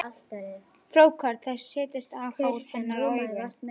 Frjókorn þess setjast á hár hennar og í augun.